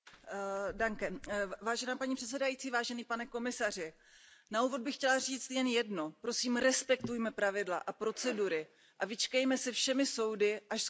Paní předsedající, na úvod bych chtěla říct jen jedno, prosím, respektujme pravidla a procedury a vyčkejme se všemi soudy, až skončí probíhající kontroly.